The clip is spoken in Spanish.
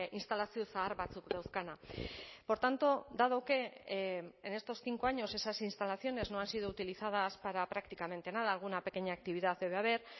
instalazio zahar batzuk dauzkana por tanto dado que en estos cinco años esas instalaciones no han sido utilizadas para prácticamente nada alguna pequeña actividad debe haber